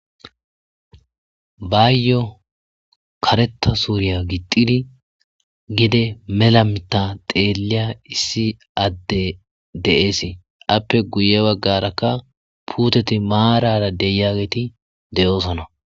Bayo kareta suriya gixidi gidi mela mitha xeliya issi adde des ape guye bagaraka puteti marara de'iyageti de'osona.